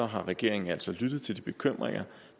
har regeringen altså lyttet til de bekymringer